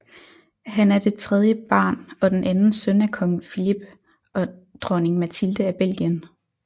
Han er det tredje barn og den anden søn af Kong Philippe og Dronning Mathilde af Belgien